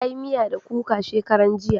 Ta yi miya da kuka shakaran jiya